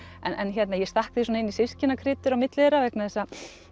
en ég stakk því svona inn í systkinakrytur á milli þeirra vegna þess að